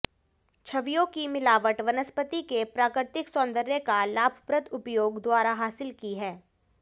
छवियों की मिलावट वनस्पति के प्राकृतिक सौंदर्य का लाभप्रद उपयोग द्वारा हासिल की है